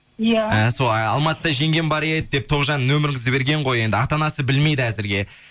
иә іхі сол алматыда жеңгем бар еді деп тоғжан нөміріңізді берген ғой енді ата анасы білмейді әзірге